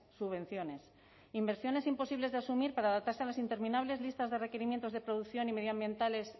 subvenciones inversiones imposibles de asumir para adaptarse a las interminables listas de requerimientos de producción y medioambientales